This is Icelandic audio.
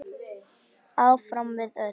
Áfram við öll.